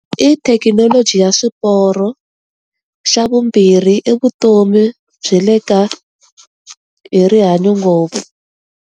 I thekinoloji ya swiporo, xa vumbirhi i vutomi bya le ka, hi rihanyo ngopfu.